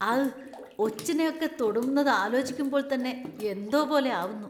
അഘ്ഘ്! ഒച്ചിനെ ഒക്കെ തൊടുന്നത് ആലോചിക്കുമ്പോൾ തന്നെ എന്തോ പോലെ ആവുന്നു.